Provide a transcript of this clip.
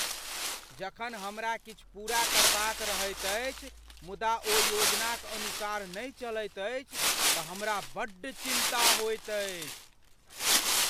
जखन हमरा किछु पूरा करबाक रहैत अछि मुदा ओ योजनाक अनुसार नहि चलैत अछि तँ हमरा बड्ड चिन्ता होइत अछि।